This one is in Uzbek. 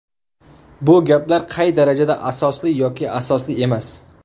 Bu gaplar qay darajada asosli yoki asosli emas?